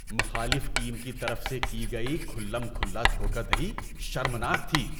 مخالف ٹیم کی طرف سے کی گئی کھلم کھلا دھوکہ دہی شرمناک تھی۔